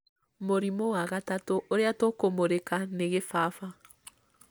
mũrimũ wa gatatũ ũrĩa tũkũmũrĩka nĩ kĩbaba